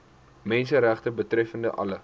menseregte betreffende alle